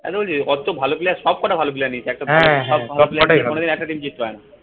আরে ওই যে ও তো ভালো player সব কটা ভালো player নিয়েছে কোনোদিন একটা team জিততে পারে না।